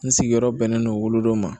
N sigiyɔrɔ bɛnnen don wolodon ma